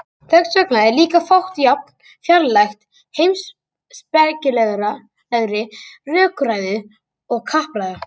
þess vegna er líka fátt jafn fjarlægt heimspekilegri rökræðu og kappræða